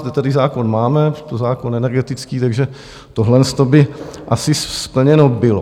Zde tedy zákon máme, je to zákon energetický, takže toto by asi splněno bylo.